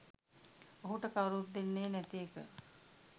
ඔහුට කවුරුත් දෙන්නේ නැති එක